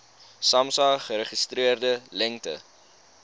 samsa geregistreerde lengte